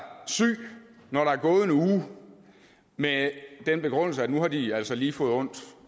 syg når der er gået en uge med den begrundelse at nu har de altså lige fået ondt